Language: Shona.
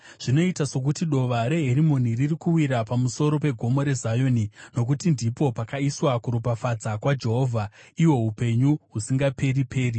Zvinoita sokuti dova reHerimoni riri kuwira pamusoro peGomo reZioni. Nokuti ndipo pakaiswa kuropafadza kwaJehovha, ihwo upenyu husingaperi-peri.